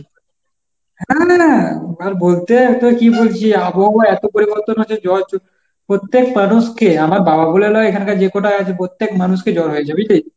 না না না আর বলতে তোকে কি বলছি আবহাওয়া এত পরিবর্তন হয়েছে জ্বর প্রত্যেক মানুষকে আমার বাবা বলে নয় এখানকার যে কটা আছে প্রত্যেক মানুষকে জ্বর হয়েছে বুঝলি?